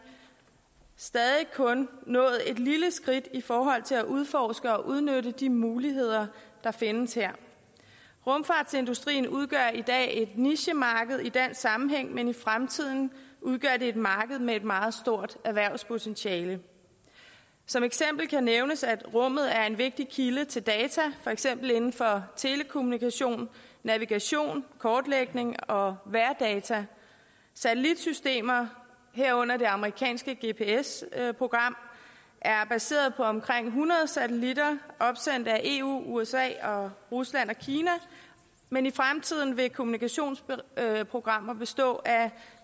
stadig kun nået et lille skridt i forhold til at udforske og udnytte de muligheder der findes her rumfartsindustrien udgør i dag et nichemarked i dansk sammenhæng men i fremtiden udgør det et marked med et meget stort erhvervspotentiale som eksempel kan nævnes at rummet er en vigtig kilde til data inden for eksempel telekommunikation navigation kortlægning og vejrdata satellitsystemer herunder det amerikanske gps program er baseret på omkring hundrede satellitter opsendt af eu usa rusland og kina men i fremtiden vil kommunikationsprogrammer bestå af